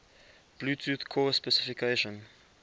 bluetooth core specification